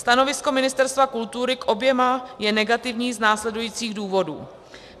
Stanovisko Ministerstva kultury k oběma je negativní z následujících důvodů.